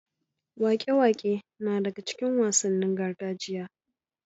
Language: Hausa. Waƙe-waƙe na daga cikin wasannin gargajiya.